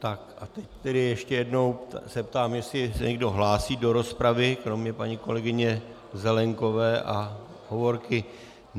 Tak a teď tedy ještě jednou se zeptám, jestli se někdo hlásí do rozpravy kromě paní kolegyně Zelienkové a Hovorky.